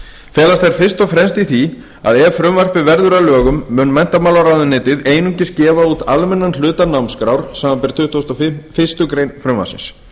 felast þær fyrst og fremst í því að ef frumvarpið verður að lögum mun menntamálaráðuneytið einungis gefa út almennan hluta námskrár samanber tuttugustu og fyrstu grein frumvarpsins